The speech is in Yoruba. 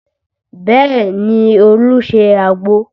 Bẹẹ ni, Olu ṣe àgbo